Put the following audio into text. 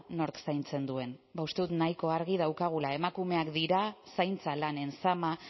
nork zaintzen duen ba uste dut nahiko argi daukagula emakumeak dira zaintza lanen zama